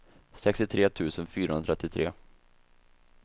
sextiotre tusen fyrahundratrettio